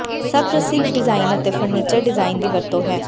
ਸਭ ਪ੍ਰਸਿੱਧ ਡਿਜ਼ਾਇਨ ਅਤੇ ਫਰਨੀਚਰ ਡਿਜ਼ਾਇਨ ਦੀ ਵਰਤੋ ਹੈ